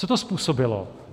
Co to způsobilo?